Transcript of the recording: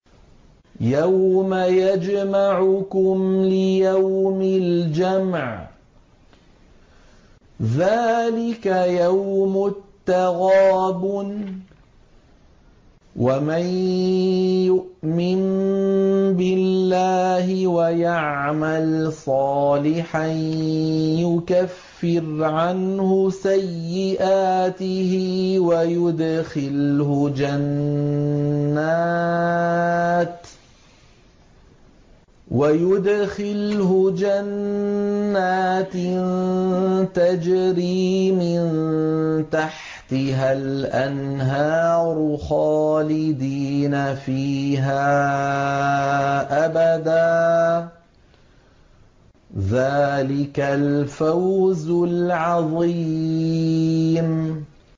يَوْمَ يَجْمَعُكُمْ لِيَوْمِ الْجَمْعِ ۖ ذَٰلِكَ يَوْمُ التَّغَابُنِ ۗ وَمَن يُؤْمِن بِاللَّهِ وَيَعْمَلْ صَالِحًا يُكَفِّرْ عَنْهُ سَيِّئَاتِهِ وَيُدْخِلْهُ جَنَّاتٍ تَجْرِي مِن تَحْتِهَا الْأَنْهَارُ خَالِدِينَ فِيهَا أَبَدًا ۚ ذَٰلِكَ الْفَوْزُ الْعَظِيمُ